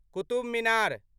Qutub Minar